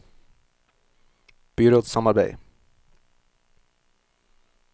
byrådssamarbeid